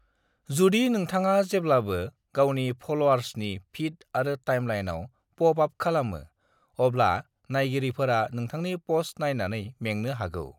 "जुदि नोंथांआ जेब्लाबो गावनि फल'आर्सनि फीड आरो टाइमलाइनाव पॉप अप खालामो, अब्ला नायगिरिफोरा नोंथांनि पोस्ट नायनानै मेंनो हागौ।"